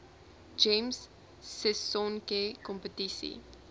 gems sisonke kompetisie